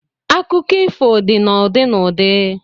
Akụkọ ifo dị na ụdị na ụdị